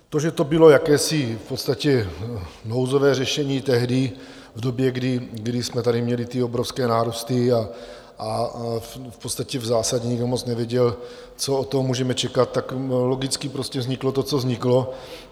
To, že to bylo jakési v podstatě nouzové řešení tehdy, v době, kdy jsme tady měli ty obrovské nárůsty a v podstatě v zásadě nikdo moc nevěděl, co od toho můžeme čekat, tak logicky prostě vzniklo to, co vzniklo.